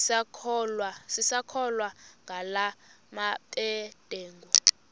sisakholwa ngala mabedengu